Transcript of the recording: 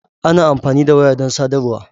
Ana amfani da waya don sadarwa.